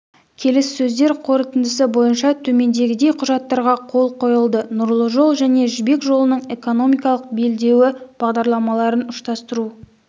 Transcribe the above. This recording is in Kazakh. келіссөздер қорытындысы бойынша төмендегідей құжаттарға қол қойылды нұрлы жол және жібек жолының экономикалық белдеуі бағдарламаларын ұштастыру